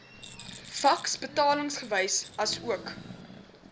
faks betalingsbewys asook